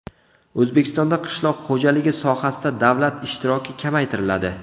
O‘zbekistonda qishloq xo‘jaligi sohasida davlat ishtiroki kamaytiriladi.